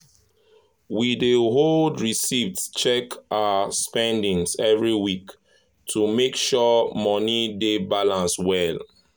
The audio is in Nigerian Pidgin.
we dey hold receipts check our spendings every week to make sure money dey balance well.